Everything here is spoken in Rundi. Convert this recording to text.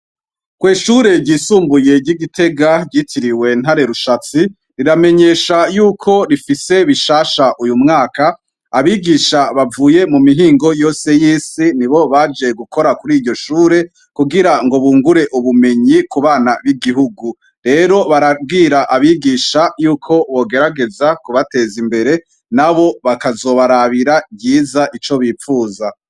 Kwishure ryisumbuye ry'igitega ryitiriwe ntare rushatsi riramenyesha yuko rifise bishasha uyu mwaka abigisha bavuye mu mihingo yose y'isi ni bo baje gukora kuri iryo shure kugira ngo bungure ubumenyi ku bana b'igihugu rero barabwira abigisha yuko bogerageza kubateza imbere na bo bakazobarabira ryiza ico bipfuza.